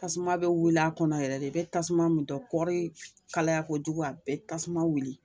Tasuma bɛ wuli a kɔnɔ yɛrɛ de, i bɛ tasuma min dɔn, kɔri kalaya kojugu a be tasuma wuli